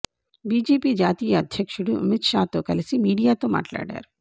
BJP జాతీయ అధ్యక్షుడు అమిత్ షా తో కలిసి మీడియాతో మాట్లాడారు